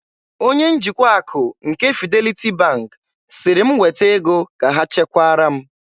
Onye njikwa akụ nke Fidelity Bank sịrị m weta ego ka ha chekwara m.